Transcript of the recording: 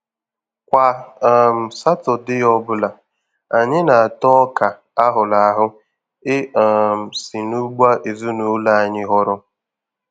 Kwa um Satọdee ọbụla, anyị na-ata Ọka a hụrụ ahụ e um si n'ugbo ezinụlọ anyị họrọ.